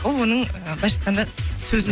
ол оның ы былайынша айтқанда сөзі